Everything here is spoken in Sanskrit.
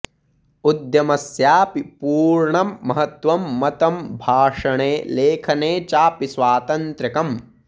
उद्यमस्यापि पूर्णं महत्त्वं मतं भाषणे लेखने चापि स्वातन्त्र्यकम्